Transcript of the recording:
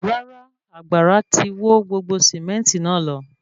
Rárá, àgbàrá tí wọ́ gbogbo sementi náà lọ